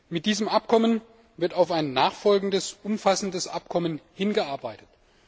Mit diesem Abkommen wird auf ein nachfolgendes umfassendes Abkommen hin gearbeitet.